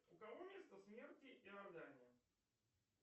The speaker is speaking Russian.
у кого место смерти иордания